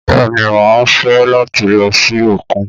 Bẹ́ẹ̀ ni, mà á fẹ́ láti lọ sí òkun